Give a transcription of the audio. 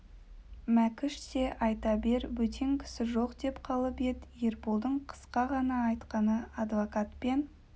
мәкіш те айта бер бөтен кісі жоқ деп қалып ед ерболдың қысқа ғана айтқаны адвокат пен